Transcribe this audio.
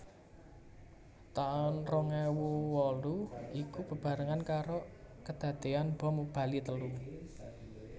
Taun rong ewu wolu iku bebarengan karo keadean bom Bali telu